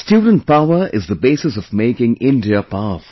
Student power is the basis of making India powerful